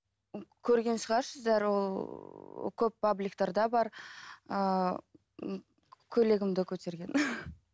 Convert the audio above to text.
көрген шығарсыздар ол көп пабликтарда бар ыыы көйлегімді көтерген